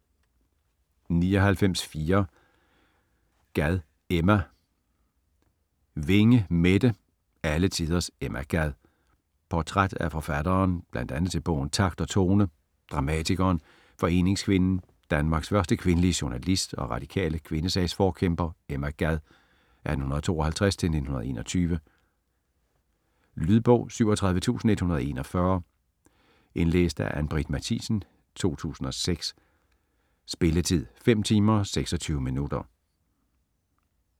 99.4 Gad, Emma Winge, Mette: Alle tiders Emma Gad Portræt af forfatteren, bl.a. til bogen "Takt og tone", dramatikeren, foreningskvinden, Danmarks første kvindelige journalist og radikale kvindesagsforkæmper Emma Gad (1852-1921). Lydbog 37141 Indlæst af Ann-Britt Mathisen, 2006. Spilletid: 5 timer, 26 minutter.